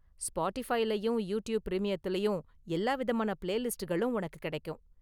ஸ்பாட்டிஃபைலயும் YouTube பிரீமியத்துலையும் எல்லா விதமான பிளேலிஸ்ட்களும் ஒனக்கு கெடைக்கும்.